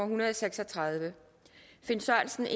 hundrede og seks og tredive finn sørensen